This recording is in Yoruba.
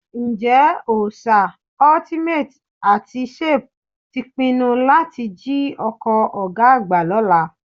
Ǹjẹ́ Òòṣà, Ultimate àti Shape ti pinnu láti jí ọkọ̀ ọ̀gá àgbà lọ́la?